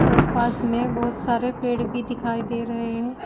और पास में बहुत सारे पेड़ भी दिखाई दे रहे हैं।